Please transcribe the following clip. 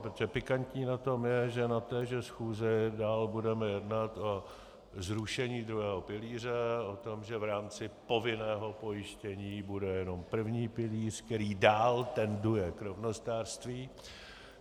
Protože pikantní na tom je, že na téže schůzi dál budeme jednat o zrušení druhého pilíře, o tom, že v rámci povinného pojištění bude jenom první pilíř, který dál tenduje k rovnostářství.